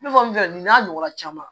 Ne bamuso nin n'a ɲɔgɔnna caman